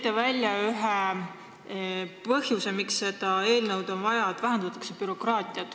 Te tõite ühe põhjusena, miks seda eelnõu on vaja, välja selle, et vähendatakse bürokraatiat.